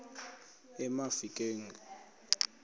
emafikeng